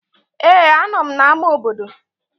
Ee, anọ m n'ámá obodo